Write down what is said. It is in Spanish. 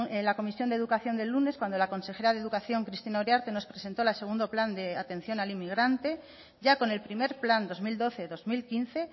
en la comisión de educación del lunes cuando la consejera de educación cristina uriarte nos presentó el segundo plan de atención al inmigrante ya con el primer plan dos mil doce dos mil quince